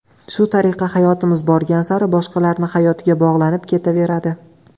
Shu tariqa hayotimiz borgan sari boshqalarning hayotiga bog‘lanib ketaveradi.